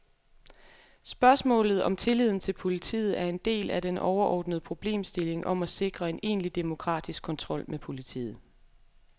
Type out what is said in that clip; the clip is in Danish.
Spørgsmålet om tilliden til politiet er en del af den overordnede problemstilling om at sikre en egentlig demokratisk kontrol med politiet.